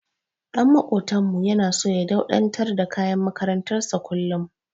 Ɗan maƙotanmu yana so ya dauɗatar da kayan makarantar sa kullum.